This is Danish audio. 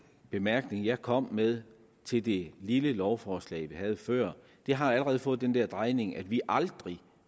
bemærkning jeg kom med til det lille lovforslag vi havde før har allerede fået den drejning at vi aldrig